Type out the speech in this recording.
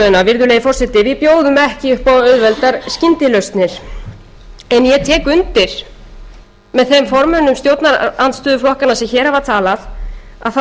virðulegi forseti bjóðum ekki upp á auðveldar skyndilausnir en ég tek undir með þeim formönnum stjórnarandstöðuflokkanna sem hér hafa talað að það